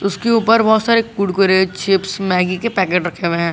उसके ऊपर बहुत सारे कुरकुरे चिप्स मैगी के पैकेट रखें हुए हैं।